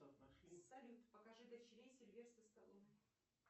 салют покажи дочерей сильвестра сталлоне